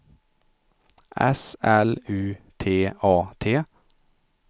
S L U T A T